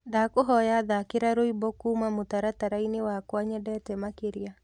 ndakũhoya thakĩra rwĩmbo kũũma mũtarataraĩnĩ wakwa nyendete makĩrĩa